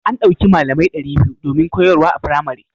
An ɗauki malamai ɗari biyu domin koyarwa a firamare.